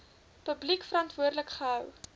publiek verantwoordelik gehou